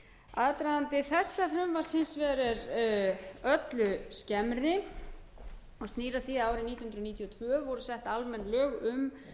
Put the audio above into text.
aðdragandi þessa frumvarps hins vegar er öllu skemmri og snýr að því að árið nítján hundruð níutíu og tvö voru sett almenn lög um